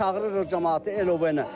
çağırırıq camaatı elə.